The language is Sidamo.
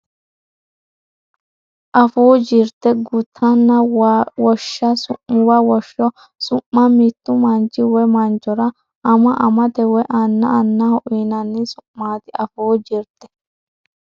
Afuu Jirte Gutunna woshsho su muwa Woshsho su ma Mittu manchi woy manchora ama amate woy anna annaho uyinanni su maati Afuu Jirte.